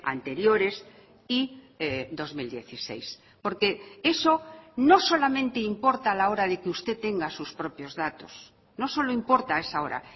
anteriores y dos mil dieciséis porque eso no solamente importa a la hora de que usted tenga sus propios datos no solo importa a esa hora